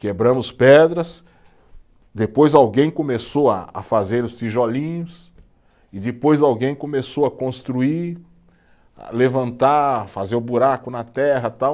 Quebramos pedras, depois alguém começou a a fazer os tijolinhos, e depois alguém começou a construir, a levantar, fazer o buraco na terra, tal.